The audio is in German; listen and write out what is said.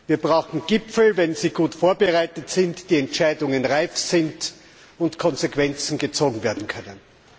Wir brauchen Gipfel, wenn sie gut vorbereitet sind, die Entscheidungen reif sind und Konsequenzen gezogen werden können.